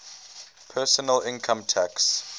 personal income tax